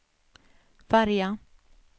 färja